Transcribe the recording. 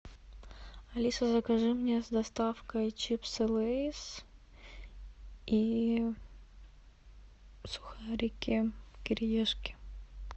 алиса закажи мне с доставкой чипсы лейс и сухарики кириешки